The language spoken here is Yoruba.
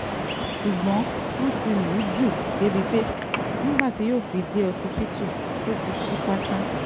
ṣùgbọ́n wọ́n ti lù ú jù débìí pé nígbà tí yóò fi dé ọsibítù ó ti kú pátá